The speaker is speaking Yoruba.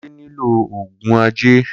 kunle nilo oogun ẹjẹ.